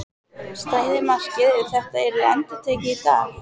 Stæði markið ef þetta yrði endurtekið í dag?